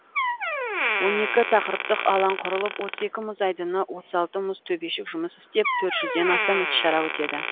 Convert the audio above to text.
он екі тақырыптық алаң құрылып отыз екі мұз айдыны отыз алты мұз төбешік жұмыс істеп төрт жүзден астам іс шара өтеді